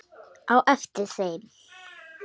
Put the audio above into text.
á eftir þeim.